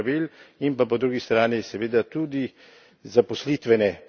In pa po drugi strani seveda tudi zaposlitvene politike.